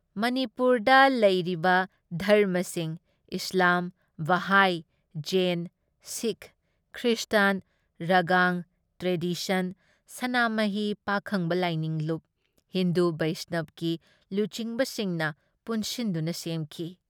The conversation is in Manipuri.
ꯃꯅꯤꯄꯨꯔꯗ ꯂꯩꯔꯤꯕ ꯙꯔꯃꯁꯤꯡ Islam, Bahai, Jain, Sikh, Christian, ꯔꯒꯥꯡ ꯇ꯭ꯔꯦꯗꯤꯁꯟ, ꯁꯅꯥꯃꯍꯤ ꯄꯥꯈꯪꯕ ꯂꯥꯏꯅꯤꯡ ꯂꯨꯞ, ꯍꯤꯟꯗꯨ ꯕꯩꯁꯅꯕꯀꯤ ꯂꯨꯆꯤꯡꯕꯁꯤꯡꯅ ꯄꯨꯟꯁꯤꯟꯗꯨꯅ ꯁꯦꯝꯈꯤ ꯫